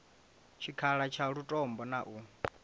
tshikhala tsha lutombo na u